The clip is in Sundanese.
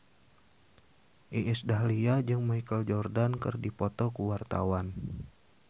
Iis Dahlia jeung Michael Jordan keur dipoto ku wartawan